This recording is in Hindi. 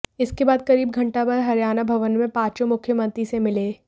इसके बाद करीब घंटा भर हरियाणा भवन में पांचों मुख्यमंत्री से मिले